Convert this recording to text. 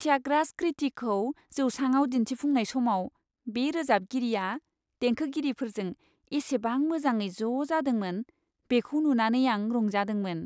थ्यागराज कृतिखौ जौसाङाव दिन्थिफुंनाय समाव बे रोजाबगिरिया देंखोगिरिफोरजों इसेबां मोजाङै ज' जादोंमोन, बेखौ नुनानै आं रंजादोंमोन।